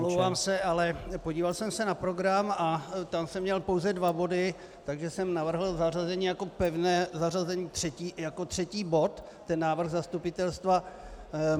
Omlouvám se, ale podíval jsem se na program a tam jsem měl pouze dva body, takže jsem navrhl zařazení jako pevné zařazení jako třetí bod ten návrh zastupitelstva.